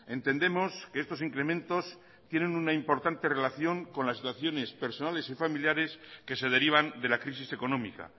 entendemos que estos incrementos tienen una importante relación con las situaciones personales y familiares que se derivan de la crisis económica